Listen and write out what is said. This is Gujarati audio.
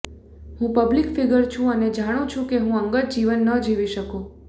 હું પબ્લિક ફીગર છું અને જાણું છું કે હું અંગત જીવન ન જીવી શકું